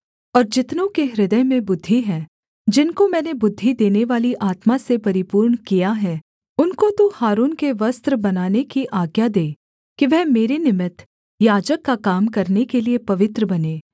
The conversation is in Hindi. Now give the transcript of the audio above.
और जितनों के हृदय में बुद्धि है जिनको मैंने बुद्धि देनेवाली आत्मा से परिपूर्ण किया है उनको तू हारून के वस्त्र बनाने की आज्ञा दे कि वह मेरे निमित्त याजक का काम करने के लिये पवित्र बनें